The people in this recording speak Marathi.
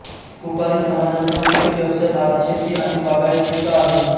कुपारी समाजाचा मुख्य व्यवसाय भातशेती आणि बागायतीचा आहे